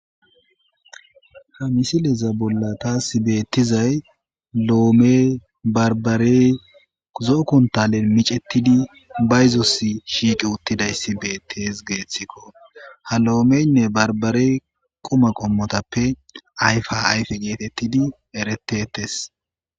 ha misileza bolla taasi beettizay loomey barbarey zookun talen micettidi bayzos shiiqi uttidayssi beettes geeththikko ha lo7omeynne barbarey qoma qommotappe ayfa ayfe geetettidi eretetes.